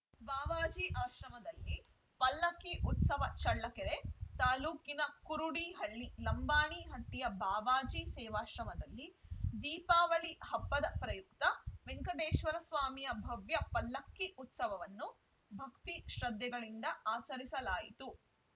ಬಾವಾಜಿ ಆಶ್ರಮದಲ್ಲಿ ಪಲ್ಲಕ್ಕಿ ಉತ್ಸವ ಚಳ್ಳಕೆರೆ ತಾಲೂಕಿನ ಕುರುಡಿಹಳ್ಳಿ ಲಂಬಾಣಿ ಹಟ್ಟಿಯ ಬಾವಾಜಿ ಸೇವಾಶ್ರಮದಲ್ಲಿ ದೀಪಾವಳಿ ಹಬ್ಬದ ಪ್ರಯುಕ್ತ ವೆಂಕಟೇಶ್ವರ ಸ್ವಾಮಿಯ ಭವ್ಯ ಪಲ್ಲಕ್ಕಿ ಉತ್ಸವವನ್ನು ಭಕ್ತಿ ಶ್ರದ್ದೆಗಳಿಂದ ಆಚರಿಸಲಾಯಿತು